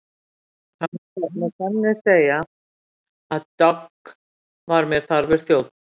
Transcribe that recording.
Það má með sanni segja að Dogg var mér þarfur þjónn.